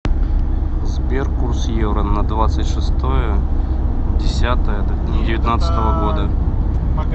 сбер курс евро на двадцать шестое десятое девятнадцатого года